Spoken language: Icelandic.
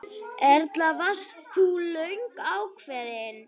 Erla: Varst þú löngu ákveðin?